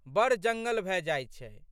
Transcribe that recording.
बड़ जंगल भए जाइत छै।